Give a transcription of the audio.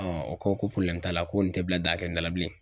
o ko ko t'a la ko nin tɛ bila dakɛlen da la bilen.